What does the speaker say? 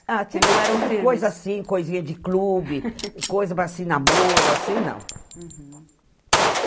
Ah, teve coisa assim, que não eram firmes, coisinha de clube coisa para se namoro, assim não.